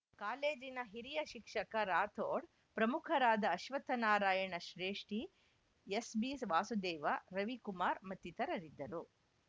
ಕಾಲೇಜಿನ ಹಿರಿಯ ಶಿಕ್ಷಕ ರಾಥೋಡ್‌ ಪ್ರಮುಖರಾದ ಅಶ್ವತ್ಥನಾರಾಯಣ ಶ್ರೇಷ್ಠಿ ಎಸ್‌ಬಿವಾಸುದೇವ ರವಿಕುಮಾರ್‌ ಮತ್ತಿತರರಿದ್ದರು